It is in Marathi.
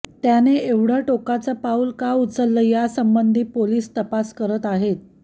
त्याने एवढं टोकाचं पाऊल का उचललं यासंबंधी पोलीस तपास करत आहेत